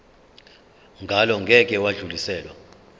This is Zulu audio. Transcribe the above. ngalo ngeke lwadluliselwa